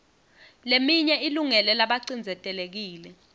leminye ilungele labacindzetelekile